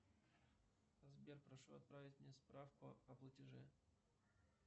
сбер прошу отправить мне справку о платеже